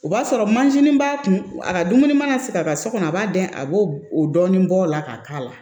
O b'a sɔrɔ mansin b'a kun a ka dumuni mana se ka kɛ so kɔnɔ a b'a dɛn a b'o dɔɔnin bɔ o la ka k'a la